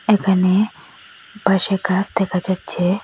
এখানে বাইশে কাচ দেখা যাচ্ছে।